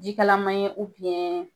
Ji kalama ye